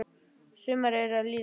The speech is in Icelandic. Sumarið er að líða.